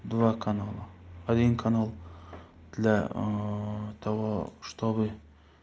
два канала один канал для ээ того чтобы